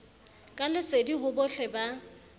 ka lesedi ho bohle ba